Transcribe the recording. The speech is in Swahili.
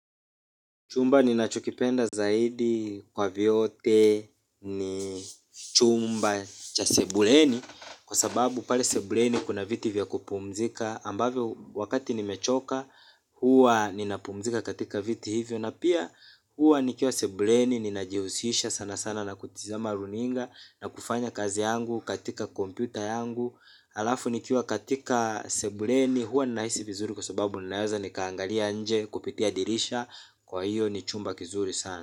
Chumba ninachokipenda zaidi kwa vyote ni chumba cha sebuleni. Kwa sababu pale sebuleni kuna viti vya kupumzika ambavyo wakati nimechoka hua ninapumzika katika viti hivyo. Na pia hua nikiwa sebuleni ninajihusisha sanasana na kutizama runinga na kufanya kazi yangu katika kompyuta yangu alafu nikiwa katika sebuleni hua ninaisi vizuri. Kwa sababu ninaweza nikaangalia nje kupitia dirisha kwa hiyo ni chumba kizuri sana.